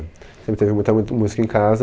É. Sempre teve muita mui música em casa.